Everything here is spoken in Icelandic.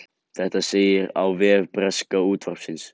Þetta segir á vef breska útvarpsins